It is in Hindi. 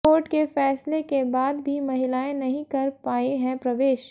कोर्ट के फैसले के बाद भी महिलाएं नहीं कर पाई है प्रवेश